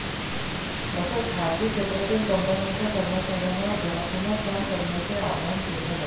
तसेच खासगी क्षेत्रातील कंपन्यांच्या कर्मचाऱ्यांना घरातूनच काम करण्याचे आवाहन केले आहे.